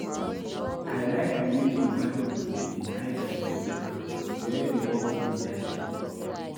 I like the way the Yoruba people dey lie down for ground wen dey wan greet their King